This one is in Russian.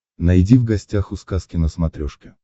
найди в гостях у сказки на смотрешке